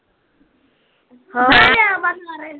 ਹਾਂ ਹਾਂ